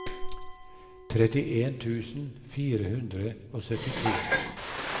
trettien tusen fire hundre og syttito